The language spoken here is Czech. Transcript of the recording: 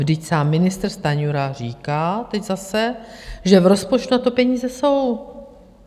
Vždyť sám ministr Stanjura říká - teď zase - že v rozpočtu na to peníze jsou.